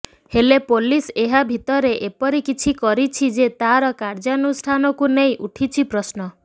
ହେଲେ ପୋଲିସ୍ ଏହା ଭିତରେ ଏପରି କିଛି କରିଛି ଯେ ତାର କାର୍ଯ୍ୟାନୁଷ୍ଠାନକୁ ନେଇ ଉଠିଛି ପ୍ରଶ୍ନ